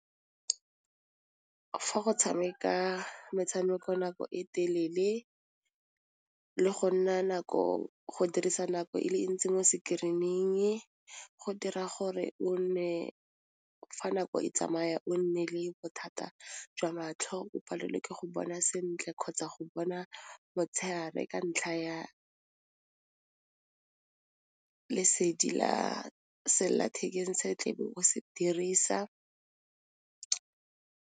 Fa go tshameka metshameko nako e telele le go nna nako go dirisa nako e le ntsi mo screening go dira gore o nne fa nako e tsamaya o nne le bothata jwa matlho o palelwe ke go bona sentle kgotsa go bona motshegare ka ntlha ya lesedi la selelathekeng se tle be o se dirisa.